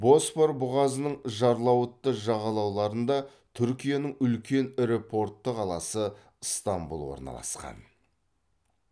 босфор бұғазының жарлауытты жағалауларында түркияның үлкен ірі портты қаласы ыстамбұл орналасқан